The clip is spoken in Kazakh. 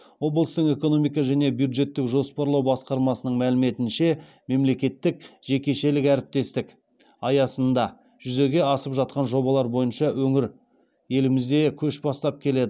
облыстың экономика және бюджеттік жоспарлау басқармасының мәліметінше мемлекеттік жекешелік әріптестік аясында жүзеге асып жатқан жобалар бойынша өңір елімізде көш бастап келеді